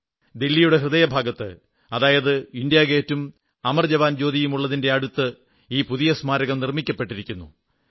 ദില്ലിയുടെ ഹൃദയഭാഗത്ത് അതായത് ഇന്ത്യാഗേറ്റും അമർ ജവാൻ ജ്യോതിയും ഉള്ളതിന്റെ അടുത്ത് ഈ പുതിയ സ്മാരകം നിർമ്മിക്കപ്പെട്ടിരിക്കുന്നു